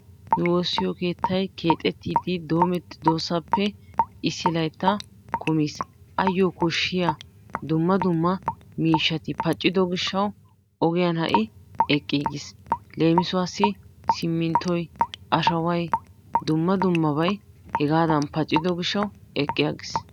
Nu woossiyo keettay keexettiiddi doomettidoosappe issi laytta kumiis ayyoo koshshiyaa dumma dumma miishshati paccido gishawu ogiyan ha'i eqqiigiis leemisuwaassi siminntoy, ashaway, dumma dummabay hegaadan paccido gishshawu eqqi aggis.